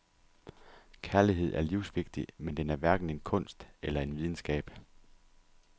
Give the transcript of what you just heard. Kærlighed er livsvigtig, men den er hverken en kunst eller en videnskab.